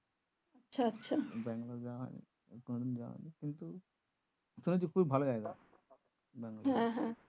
ব্যাঙ্গালোর যাওয়া হয়নি কোনোদিন যাওয়া হয়নি কিন্তু শুনেছি নাকি খুব ভালো জায়গা